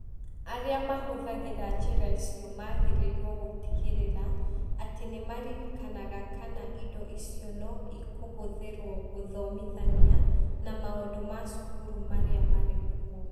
Arĩa mahũthagĩra njĩra icio magĩrĩirũo gũtigĩrĩra atĩ nĩ maririkanaga kana indo icio no ikũhũthĩrũo gũthomithania na maũndũ ma cukuru marĩa marĩ kuo.